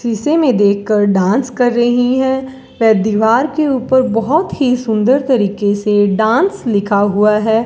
शीशे में देखकर डांस कर रही हैं व दीवार के ऊपर बहुत ही सुंदर तरीके से डांस लिखा हुआ है।